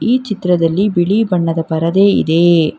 ಈ ಚಿತ್ರದಲ್ಲಿ ಬಿಳಿ ಬಣ್ಣದ ಪರದೆ ಇದೆ.